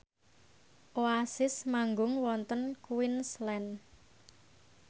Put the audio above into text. Oasis manggung wonten Queensland